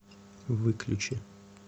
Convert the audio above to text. выключи